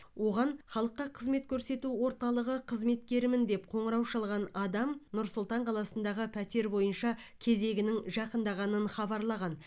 оған халыққа қызмет көрсету орталығы қызметкерімін деп қоңырау шалған адам нұр сұлтан қаласындағы пәтер бойынша кезегінің жақындағанын хабарлаған